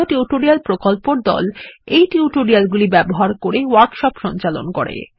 কথ্য টিউটোরিয়াল প্রকল্পর দল এই টিউটোরিয়াল গুলি ব্যবহার করে ওয়ার্কশপ সঞ্চালন করে